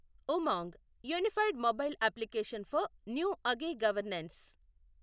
Umang unified mobile application for new age governance